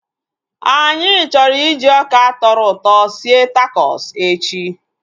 Anyị chọrọ iji ọka tọrọ ụtọ sie takos echi